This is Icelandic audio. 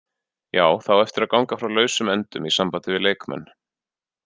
Já, það á eftir að ganga frá lausum endum í sambandi við leikmenn.